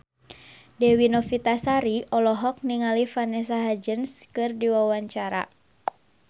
Dewi Novitasari olohok ningali Vanessa Hudgens keur diwawancara